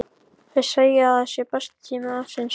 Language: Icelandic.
Þau segja að það sé besti tími ársins.